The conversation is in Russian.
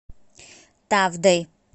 тавдой